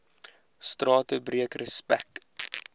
strate breek respek